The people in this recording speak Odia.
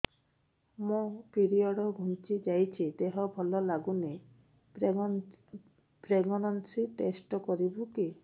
ମୋ ପିରିଅଡ଼ ଘୁଞ୍ଚି ଯାଇଛି ଦେହ ଭଲ ଲାଗୁନି ପ୍ରେଗ୍ନନ୍ସି ଟେଷ୍ଟ କରିବୁ କି